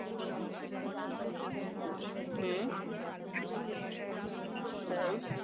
A false